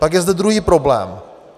Pak je zde druhý problém.